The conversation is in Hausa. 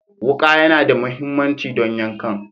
Wuka yAna da mahimmanci don yankan